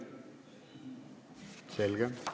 Selge.